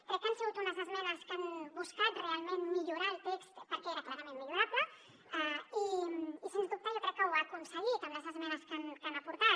crec que han sigut unes esmenes que han buscat realment millorar el text perquè era clarament millorable i sens dubte jo crec que ho han aconseguit amb les esmenes que hi han aportat